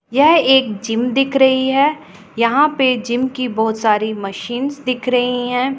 यह एक जिम दिख रही है यहां पर जिम की बहोत सारी मशीन्स दिख रही हैं।